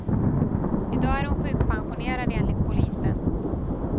I dag är hon sjukpensionerad, enligt polisen.